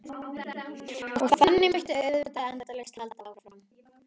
Og þannig mætti auðvitað endalaust halda áfram.